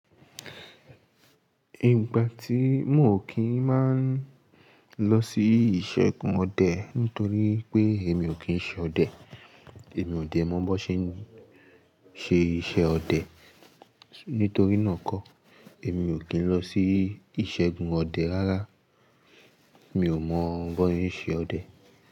Ìgbà tí mo ò kí ń máa lọ sí ìṣègùn ọdẹ nítorí pé èmi ò kí ń ṣe ọdẹ. Èmi ò dè mọ bó ṣe ń ṣe iṣẹ́ ọdẹ, nítorí náà kọ́ èmi ò kí ń lọ sí ìṣègùn ọdẹ rárá. Mi ò mọ bó yín ṣe ọdẹ.